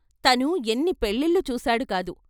తను ఎన్ని పెళ్ళిళ్ళు చూశాడుకాదు.